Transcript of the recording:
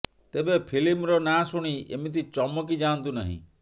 ତେବେ ଫିଲ୍ମର ନାଁ ଶୁଣି ଏମିତି ଚମକି ଯାଆନ୍ତୁ ନାହିଁ